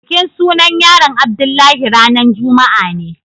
bikin sunan yaron Abdullahi ranan juma'a ne.